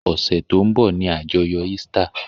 Ọ̀sẹ̀ tó ń bọ̀ ni àjọyọ̀ Easter.